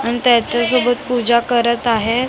आणि त्याच्यासोबत पूजा करत आहे .